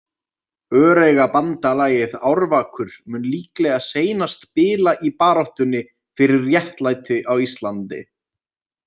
Öreigabandalagið Árvakur mun líklega seinast bila í baráttunni fyrir réttlæti á Íslandi.